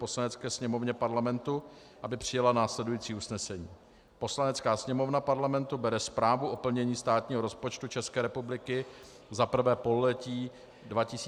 Poslanecké sněmovně Parlamentu, aby přijala následující usnesení: Poslanecká sněmovna Parlamentu bere Zprávu o plnění státního rozpočtu České republiky za 1. pololetí 2015 na vědomí.